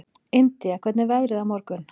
Indía, hvernig er veðrið á morgun?